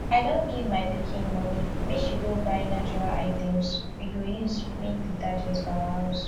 i don give my pikin money make she go buy natural items we go use make detergent for our house